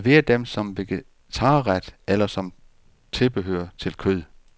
Server dem som vegetarret eller som tilbehør til kød.